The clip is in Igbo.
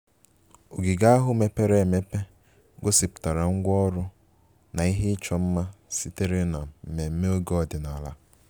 Ogige ahụ mepere emepe gosipụtara ngwa ọrụ na ihe ịchọ mma sitere na mmemme oge ọdịnala